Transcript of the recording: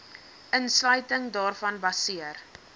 insluiting daarvan baseer